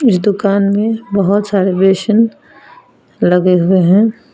इस दुकान में बहुत सारे बेसिन लगे हुए हैं।